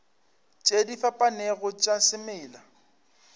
tše di fapanego tša semela